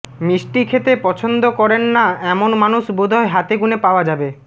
মিষ্টি খেতে পছন্দ করেন না এমন মানুষ বোধহয় হাতে গুনে পাওয়া যাবে